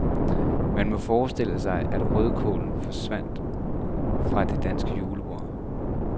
Man må forestille sig, at rødkålen forsvandt fra det danske julebord.